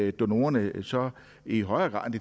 at donorerne så i højere grad